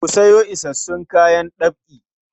Ku sayo isassun kayan ɗab'i.